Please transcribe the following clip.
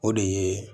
O de ye